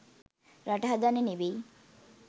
රට හදන්න නෙවෙයි